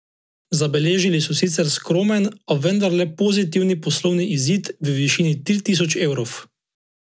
Zabeležili so sicer skromen, a vendarle pozitivni poslovni izid v višini tri tisoč evrov.